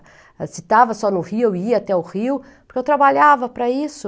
Se estava só no Rio, eu ia até o Rio, porque eu trabalhava para isso.